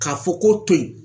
K'a fɔ k'o to ye